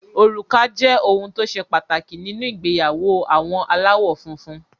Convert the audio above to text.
Òrùka jẹ́ ohun tó ṣe pàtàkì nínú ìgbéyàwó àwọn aláwọ̀ funfun.